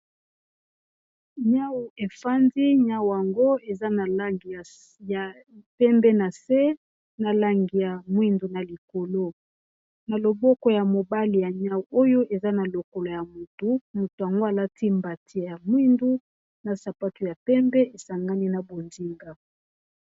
Nyau efandi , nyau yango eza na langi ya pembe na se na langi ya mwindu na likolo na loboko ya mobali ya nyau oyo eza na lokolo ya motu moto yango alati mbati ya mwindu na sapatu ya pembe esangani na bonzinga.